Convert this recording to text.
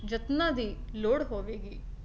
ਯਤਨਾਂ ਦੀ ਲੋੜ ਹੋਵੇਗੀ